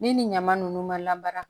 Ni nin ɲama nunnu mara